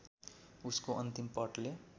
उसको अन्तिम पटले